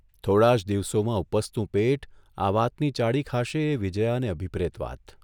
થોડા જ દિવસોમાં ઊપસતું પેટ આ વાતની ચાડી ખાશે એ વિજયાને અભિપ્રેત વાત !